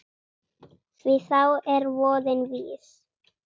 Því þá er voðinn vís.